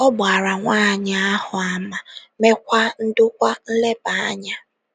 Ọ gbaara nwaanyị ahụ àmà, meekwa ndokwa nleba anya